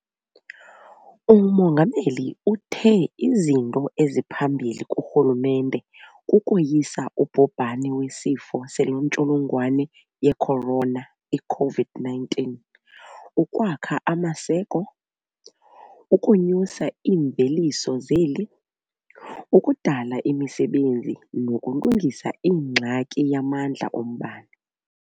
UMongameli uthe izinto eziphambili kurhulumente kukoyisa ubhubhane weSifo seNtsholongwane ye-Corona, i-COVID-19, ukwakha amaseko, ukonyusa iimveliso zeli, ukudala imisebenzi nokulungisa ingxaki yamandla ombane.